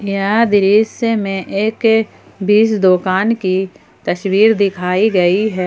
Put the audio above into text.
यह दृश्य में एक बीज दुकान की तस्वीर दिखाई गई है।